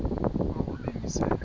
oko be ndise